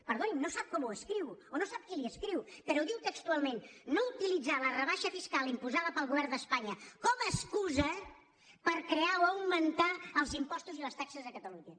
perdoni no sap com ho escriu o no sap qui li ho escriu però ho diu textualment no utilitzar la rebaixa fiscal imposada pel govern d’espanya com a excusa per crear o augmentar els impostos i les taxes a catalunya